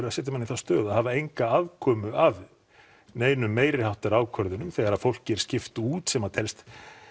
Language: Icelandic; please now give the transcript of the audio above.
að setja mann í þá stöðu að hafa enga aðkomu að neinum meiriháttar ákvörðunum þegar fólki er skipt út sem að telst